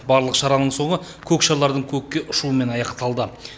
барлық шараның соңы көк шарлардың көкке ұшуымен аяқталды